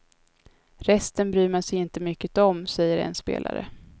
Resten bryr man sig inte mycket om, säger en spelare.